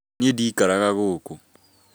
Niĩ ndikaraga gũkũ